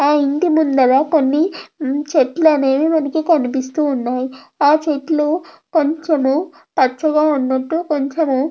ఆ ఇంటి ముందట కొన్ని చెట్లనేవి మనకు కనిపిస్తున్నాయి ఆ చెట్లు కొంచెం పచ్చగా ఉండడంతో కొంచెం--